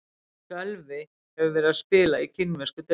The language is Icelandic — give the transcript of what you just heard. Sölvi hefur verið að spila í kínversku deildinni.